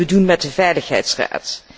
Wat kunnen we doen met de Veiligheidsraad?